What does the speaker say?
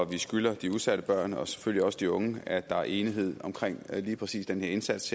vi skylder de udsatte børn og selvfølgelig også de unge at der er enighed om lige præcis den her indsats